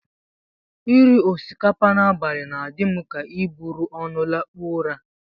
Iri osikapa n'abalị na-adị m ka iburu ọnụ lakpuo ụra